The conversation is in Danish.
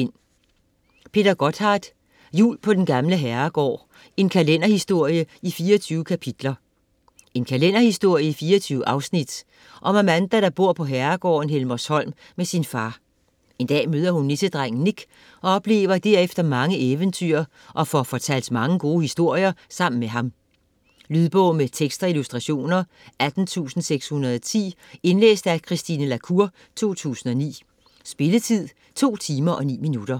Gotthardt, Peter: Jul på den gamle herregård: en kalenderhistorie i 24 kapitler En kalenderhistorie i 24 afsnit om Amanda der bor på herregården Helmershom med sin far. Hun møder en dag nissedrengen Nik og oplever derefter mange eventyr og får fortalt mange gode historier sammen med ham. Lydbog med tekst og illustrationer 18610 Indlæst af Christine La Cour, 2009. Spilletid: 2 timer, 9 minutter.